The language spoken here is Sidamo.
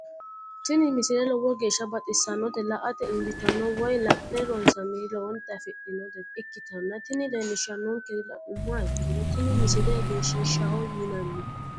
tini misile lowo geeshsha baxissannote la"ate injiitanno woy la'ne ronsannire lowote afidhinota ikkitanna tini leellishshannonkeri la'nummoha ikkiro tini misile egenshiishshaho yinanni.